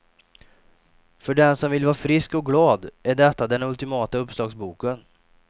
För den som vill vara frisk och glad är detta den ultimata uppslagsboken.